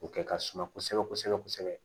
O kɛ ka suma kosɛbɛ kosɛbɛ kosɛbɛ